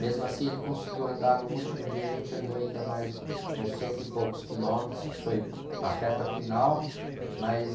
Mesmo assim, ele conseguiu andar no último dia, a gente andou ainda mais uns cento e poucos quilômetros, que foi a reta final, mas...